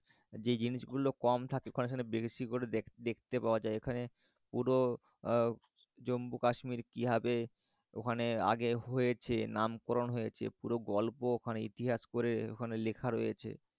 যে জিনিসগুল কম থাকে ওখানে বেশি করে দেখতে পাওয়া যায়। এখানে পুরো জম্মু কাশ্মীর কিভাবে ওখানে আগে হয়েছে নামকরন হয়েছে পুরো গল্প ওখানে ইতিহাস করে ওখানে লেখা রয়েছে।